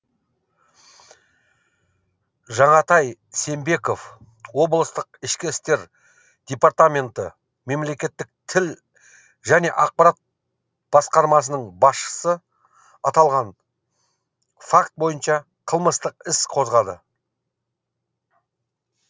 жанатай сембеков облыстық ішкі істер департаменті мемлекеттік тіл және ақпарат басқармасының басшысы аталған факт бойынша қылмыстық іс қозғады